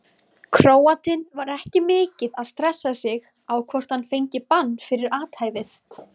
Króatinn var ekki mikið að stressa sig á hvort hann fengi bann fyrir athæfið.